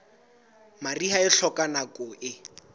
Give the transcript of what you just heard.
mariha e hloka nako e